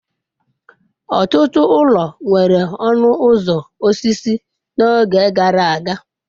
Ọtụtụ ụlọ nwere ọnụ ụzọ osisi n'oge gara aga.